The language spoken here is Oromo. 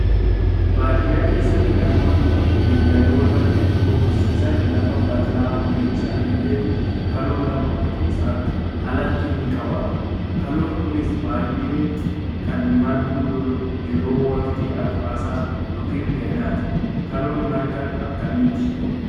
Baadiyyaa keessatti namoonni beeyladoota hedduu horsiisan lafa bal'aa horiin isaanii dheeddu kaloo lafa qotiisaan alatti ni qabaatu. Kaloon kunis baay'ee kan margu yeroo waqtii arfaasaa yookaan kan gannaati. Kaloon marga akkamiiti?